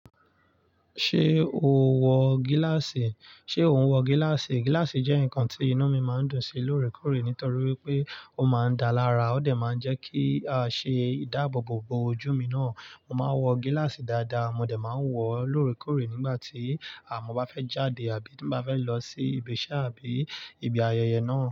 Ṣé o wọ gíláàsì? Ṣé ò ń wọ gíláàsì? Gíláàsì jẹ́ nǹkan tí inú mi máa ń dùn sí lóòrèkóòrè nítorí wípé ó máa ń dáa lára, ó dẹ̀ máa ń jẹ́ kí a ṣe ìdáàbòbò bo ojú mi náà. Mo máa ń wọ gíláàsì dáadáa, mo dẹ̀ máa wọ̀ọ́ lóòrèkóòrè nígbà tí mo bá fẹ́ jáde àbí tí n bá fẹ́ lọ sí ibi iṣẹ́ àbí ibi ayẹyẹ náà.